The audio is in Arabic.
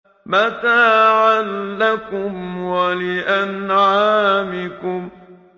مَتَاعًا لَّكُمْ وَلِأَنْعَامِكُمْ